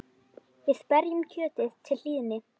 Við berjum kjötið til hlýðni.